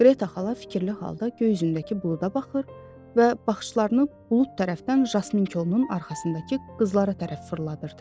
Qreta xala fikirli halda göy üzündəki buluda baxır və baxışlarını bulud tərəfdən yasmin kolunun arxasındakı qızlara tərəf fırladırdı.